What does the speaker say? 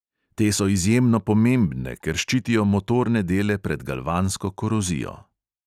Te so izjemno pomembne, ker ščitijo motorne dele pred galvansko korozijo.